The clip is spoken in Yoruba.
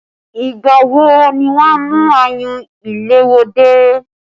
Ìgbà wo ni wọn a mú ayùn ìléwọ́ dé?